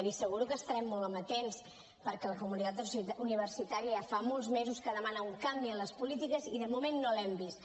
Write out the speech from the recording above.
li asseguro que estarem molt amatents perquè la comunitat universitària ja fa molts mesos que demana un canvi en les polítiques i de moment no l’hem vist